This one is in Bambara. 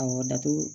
Awɔ datugu